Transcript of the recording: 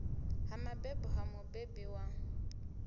ha mabebo ha mubebi wa